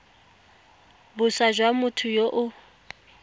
boswa jwa motho yo o